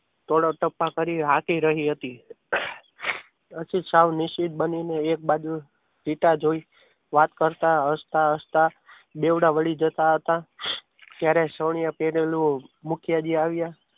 ધોળા ધપા કરી આપી રહી હતી અશિત સાવન નિશ્ચિત બનીને એક બાજુ ઇટા જોઈ વાત કરતા હસતા હસતા દેવડા વળી જતા હતા ત્યારે સૌર્ય પહેરેલું મુખિયાજી આવ્યા.